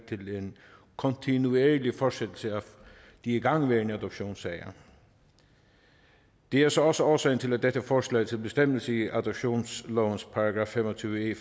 til en kontinuerlig fortsættelse af de igangværende adoptionssager det er så også årsagen til at dette forslag til bestemmelse i adoptionslovens § fem og tyve e